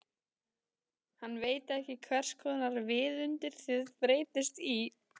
Hann veit ekki hverskonar viðundur þið breytist í.